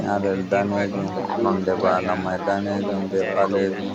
nyalel danejum nonde bana mai danejum be balejum.